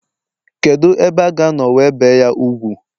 kedu ebe a ga no we bee ?ya úgwù